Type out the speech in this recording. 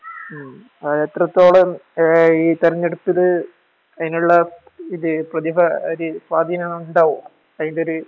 മ് അഹ് എത്രത്തോളം അഹ് ഈ തെരഞ്ഞെടുപ്പില് അതിനുള്ള പ്രതിഭ അതിനുള്ള സ്വാധീനം ഉണ്ടാവുവോ?